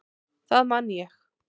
Það man ég.